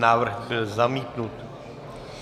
Návrh byl zamítnut.